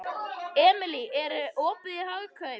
Emely, er opið í Hagkaup?